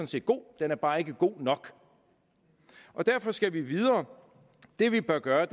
set god den er bare ikke god nok derfor skal vi videre det vi bør gøre